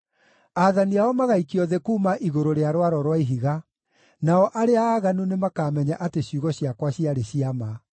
aathani ao magaikio thĩ kuuma igũrũ rĩa rwaro rwa ihiga, nao arĩa aaganu nĩmakamenya atĩ ciugo ciakwa ciarĩ cia ma.